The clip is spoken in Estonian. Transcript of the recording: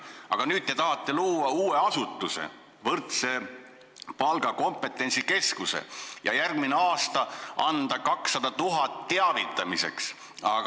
Aga nüüd te tahate luua uue asutuse, võrdse palga kompetentsikeskuse, ja järgmine aasta anda 200 000 eurot teavitamiseks.